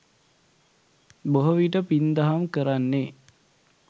බොහෝ විට පින් දහම් කරන්නේ